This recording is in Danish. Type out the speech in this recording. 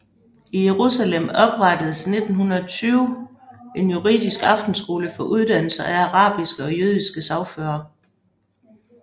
I Jerusalem oprettedes i 1920 en juridisk aftenskole for uddannelse af arabiske og jødiske sagførere